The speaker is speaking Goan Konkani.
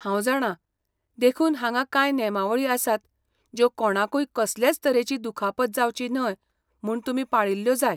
हांव जाणां, देखून हांगा कांय नेमावळी आसात ज्यो कोणाकूय कसलेच तरेची दुखापत जावची न्हय म्हूण तुमी पाळिल्ल्यो जाय!